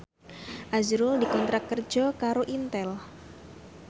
azrul dikontrak kerja karo Intel